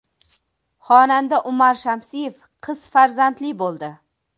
Xonanda Umar Shamsiyev qiz farzandli bo‘ldi.